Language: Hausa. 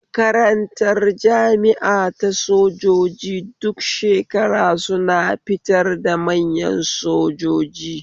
Makarantar jami'a ta sojoji duk shekara suna fitar da manya sojoji